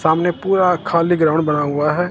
सामने पूरा खाली ग्राउंड बना हुआ हैं।